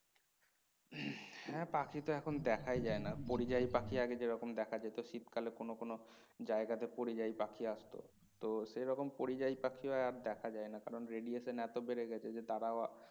হ্যাঁ পাখি তো এখন দেখাই যায়না পরিযায়ী পাখি আগে যেরকম দেখা যেত শীতকালে কোনো কোনো জায়গা তে পরিযায়ী পাখি আসত তো সেরকম পরিযায়ী পাখি আর দেখা যায় না কারণ রেডিয়েশন এতই বেড়ে গেছে যে তারাও